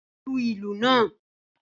Lu ìlù náà!